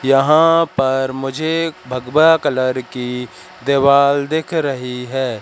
यहां पर मुझे भगवा कलर की देवाल दिख रही है।